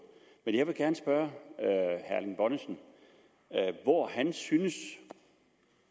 men jeg vil gerne spørge herre erling bonnesen hvor han synes